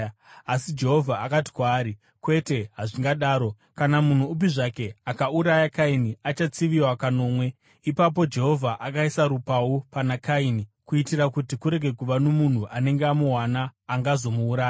Asi Jehovha akati kwaari, “Kwete hazvingadaro; kana munhu upi zvake akauraya Kaini, achatsiviwa kanomwe.” Ipapo Jehovha akaisa rupau pana Kaini kuitira kuti kurege kuva nomunhu anenge amuwana angazomuuraya.